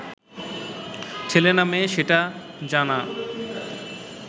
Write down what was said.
ছেলে না মেয়ে সেটা জানা